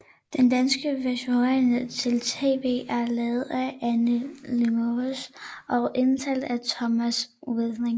Den danske versionering til TV er lavet af Anne Lilmoes og indtalt af Thomas Winding